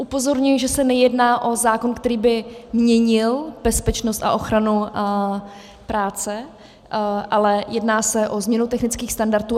Upozorňuji, že se nejedná o zákon, který by měnil bezpečnost a ochranu práce, ale jedná se o změnu technických standardů.